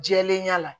Jɛlenya la